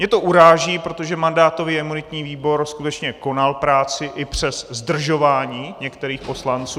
Mě to uráží, protože mandátový a imunitní výbor skutečně konal práci i přes zdržování některých poslanců.